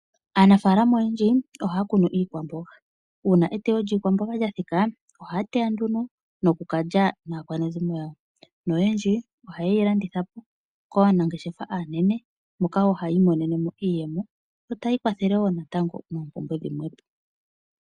Aanafalama oyendji ohaya kunu iikwamboga uuna eteyo lyiikwamboga lya thika ohaya teya noku kalya naakwanezimo yawo noyendji ohayeyi landitha po kaanangeshefa aanene moka hayi imonene mo iiyemo yo etayi ikwathele moompumbwe dhimwe.